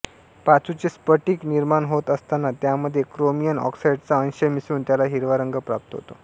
पाचूचे स्फटिक निर्माण होत असताना त्यामध्ये क्रोमियम ऑक्साइडचा अंश मिसळून त्याला हिरवा रंग प्राप्त होतो